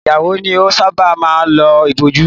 Ìyàwó ni ọ sábà máa ń lo ìbòjú